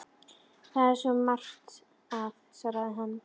Það er svo margt að- svaraði hann.